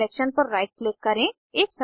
selection पर right click करें